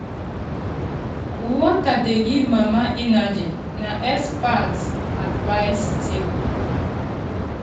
water dey help baby get wetin e need na expert talk.